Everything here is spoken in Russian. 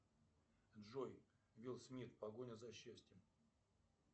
джой уилл смит погоня за счастьем